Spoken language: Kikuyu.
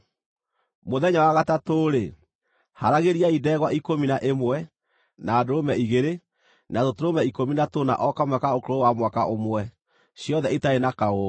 “ ‘Mũthenya wa gatatũ-rĩ, haaragĩriai ndegwa ikũmi na ĩmwe, na ndũrũme igĩrĩ, na tũtũrũme ikũmi na tũna o kamwe ka ũkũrũ wa mwaka ũmwe, ciothe itarĩ na kaũũgũ.